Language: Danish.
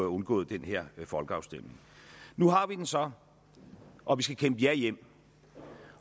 undgået den her folkeafstemning nu har vi den så og vi skal kæmpe et ja hjem